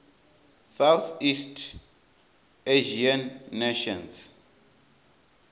southeast asian nations